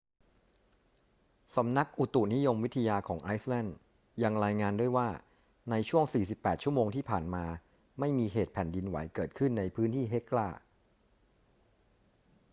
สำนักอุตุนิยมวิทยาของไอซ์แลนด์ยังรายงานด้วยว่าในช่วง 48 ชั่วโมงที่ผ่านมา ไม่มีเหตุแผ่นดินไหวเกิดขึ้นในพื้นที่เฮกลา